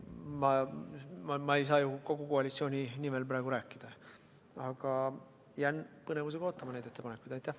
Ma ei saa praegu kogu koalitsiooni nimel rääkida, aga jään neid ettepanekuid põnevusega ootama.